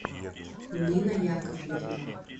нина яковлевна